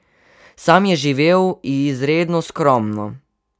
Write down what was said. Sam je živel izredno skromno.